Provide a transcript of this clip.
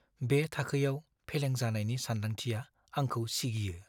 बे थाखोयाव फेलें जानायनि सानदांथिया आंखौ सिगियो।